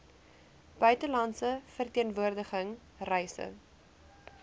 buitelandse verteenwoordiging reise